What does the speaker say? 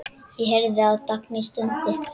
Ég heyrði að Dagný stundi.